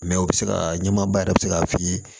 Mɛ o bɛ se ka ɲɛmaaba yɛrɛ bɛ se k'a f'i ye